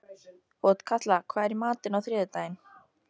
Otkatla, hvað er í matinn á þriðjudaginn?